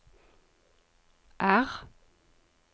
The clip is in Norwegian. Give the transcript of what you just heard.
R